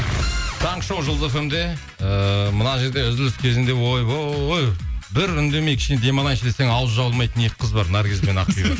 таңғы шоу жұлдыз фм де ыыы мына жерде үзіліс кезінде ойбай бір үндемей кішкене демалайыншы десең ауызы жабылмайтын екі қыз бар наргиз бен ақбибі